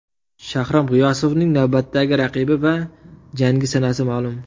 Shahram G‘iyosovning navbatdagi raqibi va jangi sanasi ma’lum.